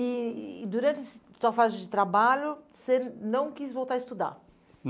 E e durante a sua fase de trabalho, você não quis voltar a estudar?